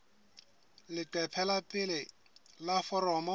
leqephe la pele la foromo